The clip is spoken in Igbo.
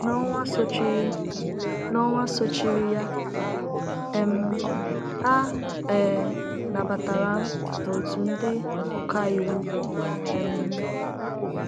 N’ọnwa sochiri N’ọnwa sochiri ya, um a um nabatara m n’òtù ndị ọkàiwu. um